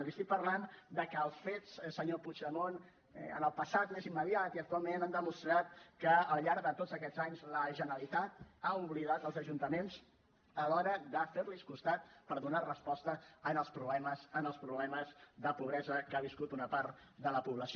li estic parlant de que els fets senyor puigdemont en el passat més immediat i actualment han demostrat que al llarg de tots aquests anys la generalitat ha oblidat els ajuntaments a l’hora de fer los costat per donar resposta als problemes als problemes de pobresa que ha viscut una part de la població